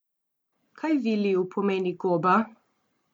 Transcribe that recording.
Kaj Viliju pomeni goba?